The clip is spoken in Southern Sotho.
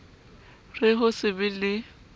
re ho se be le